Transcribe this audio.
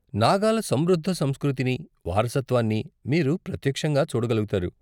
నాగాల సమృద్ధ సంస్కృతిని, వారసత్వాన్ని మీరు ప్రత్యక్షంగా చూడగలుగుతారు.